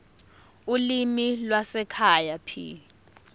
ulimi lwasekhaya p